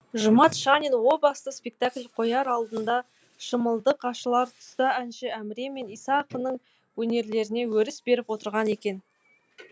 жұмат шанин о баста спектакль қояр алдында шымылдық ашылар тұста әнші әміре мен иса ақынның өнерлеріне өріс беріп отырған екен